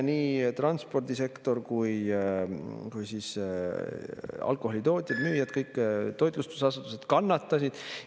Nii transpordisektor kui alkoholi tootjad ja müüjad, kõik toitlustusasutused kannatasid.